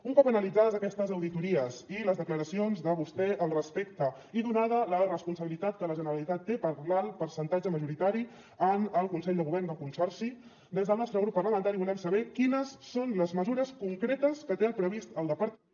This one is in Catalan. un cop analitzades aquestes auditories i les declaracions de vostè al respecte i donada la responsabilitat que la generalitat té per l’alt percentatge majoritari en el consell de govern del consorci des del nostre grup parlamentari volem saber quines són les mesures concretes que té previst el departament